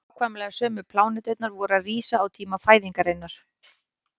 nákvæmlega sömu pláneturnar voru að rísa á tíma fæðingarinnar